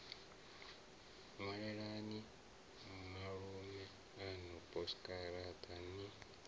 ṅwalelani malume aṋu posikaraṱa ni